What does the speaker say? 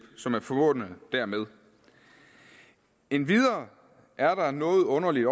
som er forbundet dermed endvidere er der noget underligt